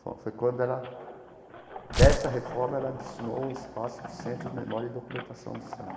Foi quando ela, dessa reforma, ela destinou um espaço para o Centro de Memória e Documentação do Samba.